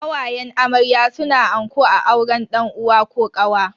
Kawayen amarya suna anko a auren dan uwa ko kawa.